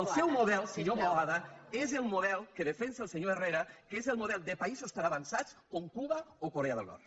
el seu model senyor boada és el model que defensa el senyor herrera que és el model de països tan avançats com cuba o corea del nord